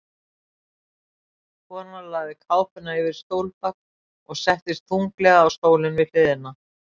Konan lagði kápuna yfir stólbak og settist þunglega á stólinn við hliðina.